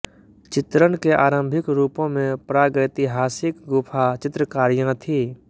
चित्रण के आरंभिक रूपों में प्रागैतिहासिक गुफा चित्रकारियां थी